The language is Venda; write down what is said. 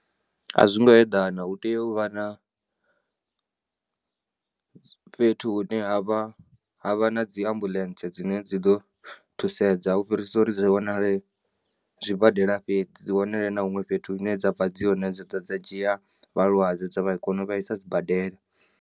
A zwi ngo eḓana, hu tea u vha na fhethu hune ha vha, ha vha na dzi ambuḽentsee dzine dzi ḓo thusedza u fhirisa uri dzi zwa wanale zwibadela fhedzi. Dzi wanalee na huṅwe fhethu hune dza ḓo bva dzi hone dza dzhia vhalwadze dza vha kone u vha i sa sibadela.